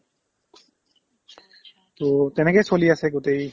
to তেনেকে চলি আছে গোটেই